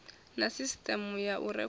na sisiteme ya u rekhoda